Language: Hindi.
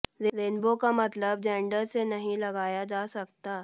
रेनबो का मतलब जेंडर से नहीं लगाया जा सकता